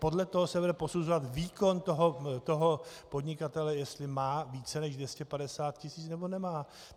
Podle toho se bude posuzovat výkon toho podnikatele, jestli má více než 250 tisíc, nebo nemá.